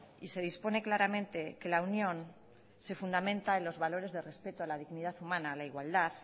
y se dispone claramente que la unión se fundamenta en los valores de respeto a la dignidad humana a la igualdad